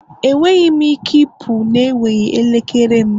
Enweghị m ike ịpụ na-enweghị elekere m